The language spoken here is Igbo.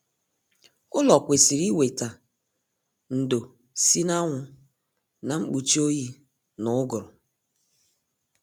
Ụlọ kwesịrị weta ndo si na anwụ na mkpuchi oyi na uguru